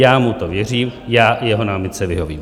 Já mu to věřím, já jeho námitce vyhovím.